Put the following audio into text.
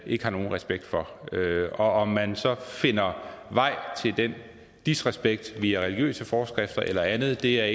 ikke har nogen respekt for og om man så finder vej til den disrespekt via religiøse forskrifter eller andet er